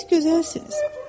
Siz gözəlsiniz.